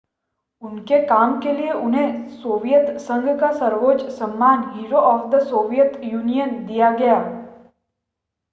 उनके काम के लिए उन्हें सोवियत संघ का सर्वोच्च सम्मान hero of the Soviet Union दिया गया